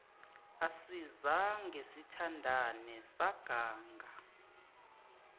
asizange sithandane saganga